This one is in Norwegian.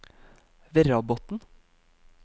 Verrabotn